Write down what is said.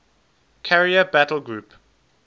carrier battle group